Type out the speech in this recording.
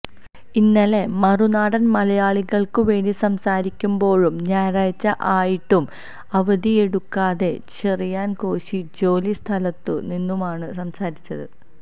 ഇന്നലെ മറുനാടൻ മലയാളിക്ക് വേണ്ടി സംസാരിക്കുമ്പോഴും ഞായറാഴ്ച ആയിട്ടും അവധിയെടുക്കാതെ ചെറിയാൻ കോശി ജോലി സ്ഥലത്തു നിന്നുമാണ് സംസാരിച്ചത്